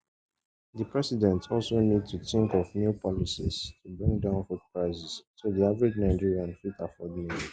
di president also need to tink of new policies to bring down food prices so di average nigerian fit afford meals